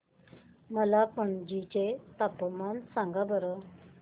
मला पणजी चे तापमान सांगा बरं